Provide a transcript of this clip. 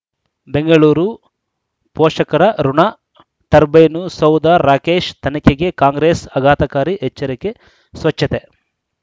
ಬೆಂಗಳೂರು ಪೋಷಕರಋಣ ಟರ್ಬೈನು ಸೌಧ ರಾಕೇಶ್ ತನಿಖೆಗೆ ಕಾಂಗ್ರೆಸ್ ಅಘಾತಕಾರಿ ಎಚ್ಚರಿಕೆ ಸ್ವಚ್ಛತೆ